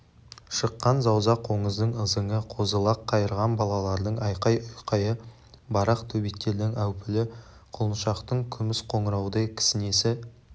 шыққан зауза қоңыздың ызыңы қозы-лақ қайырған балалардың айқай-ұйқайы барақ төбеттердің әупілі құлыншақтың күміс қоңыраудай кісінесі